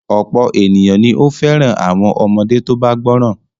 Ọ̀pọ̀ ènìyàn ni ó fẹ́ràn àwọn ọmọdé tó bá gbọ́ràn.